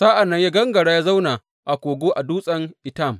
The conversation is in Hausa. Sa’an nan ya gangara ya zauna a kogo a dutsen Etam.